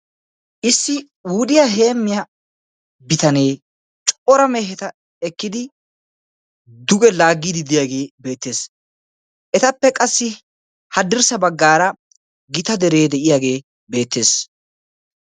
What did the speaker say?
Issi wudiyaa heemmiyaa bitanee cora meheta ekkidi duge laaggidi de'iyaagee beettees. etappe qassi hadirssa baggaara gita deree de'iyaagee beettees.